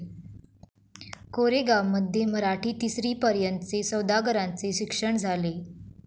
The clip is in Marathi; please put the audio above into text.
कोरेगांवमध्ये मराठी तिसरीपर्यंतचे सौदागरांचे शिक्षण झाले.